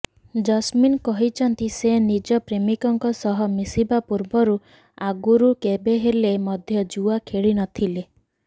Jasmine କହିଛନ୍ତି ସେ ନିଜ ପ୍ରେମିକଙ୍କ ସହ ମିଶିବା ପୂର୍ବରୁ ଆଗରୁ କେବେହେଲେ ମଧ୍ୟ ଜୁଆ ଖେଳିନଥିଲେ